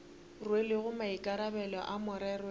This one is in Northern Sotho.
rwelego maikarabelo a merero ya